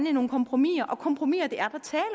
i nogle kompromiser og kompromiser